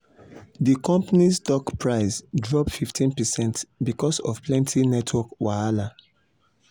d company's stock price drop 15 percent because of plenty network wahala